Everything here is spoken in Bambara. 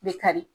Bɛ kari